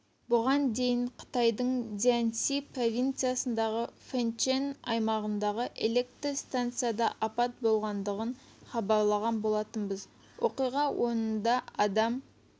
бұған дейін қытайдың цзянси провинциясындағы фэнчэн аймағындағы электр станцияда апат болғандығын хабарлаған болатынбыз оқиға орнында адам